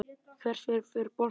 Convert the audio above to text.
Hvert fer boltinn?